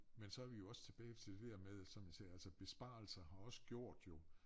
Men så vi jo også tilbage til det der med som jeg sagde altså besparelser har også gjort jo